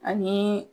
Ani